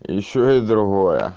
ещё и другое